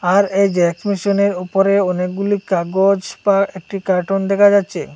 আর এই জেরক্স মেশিনের ওপরে অনেকগুলি কাগজ বা একটি কার্টুন দেখা যাচ্ছে।